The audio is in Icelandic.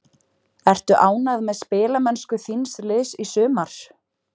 Ertu ánægð með spilamennsku þíns liðs í sumar?